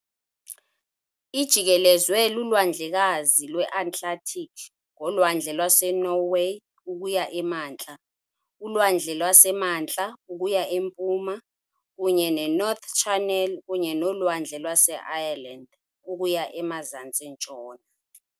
Ijikelezwe luLwandlekazi lweAtlantiki ngoLwandle lwaseNorway ukuya emantla, uLwandle lwaseMantla ukuya empuma kunye neNorth Channel kunye noLwandle lwaseIreland ukuya emazantsi-ntshona.